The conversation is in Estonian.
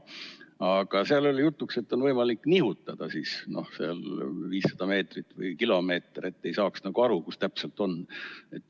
Aga oli jutuks, et on võimalik nihutada 500 meetrit või kilomeeter, et ei saaks aru, kus mis täpselt on.